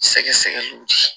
Sɛgɛsɛgɛliw di